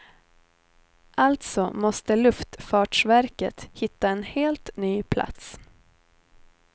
Alltså måste luftfartsverket hitta en helt ny plats.